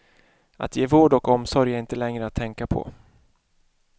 Att ge vård och omsorg är inte längre att tänka på.